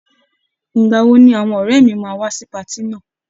Ìgbà wo ni àwọn ọ̀rẹ́ mi máa wá sí patí náà?